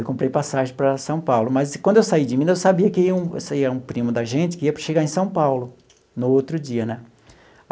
Eu comprei passagem para São Paulo, mas quando eu saí de Minas eu sabia que ia um sabia que um primo da gente que era para chegar em São Paulo no outro dia, né?